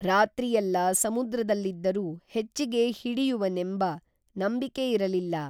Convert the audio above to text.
ರಾತ್ರಿಯೆಲ್ಲಾ ಸಮುದ್ರದಲ್ಲಿದ್ದರೂ ಹೆಚ್ಚಿಗೇ ಹಿಡಿಯುವೆನೆಂಬ ನಂಬಿಕೆ ಇರಲಿಲ್ಲ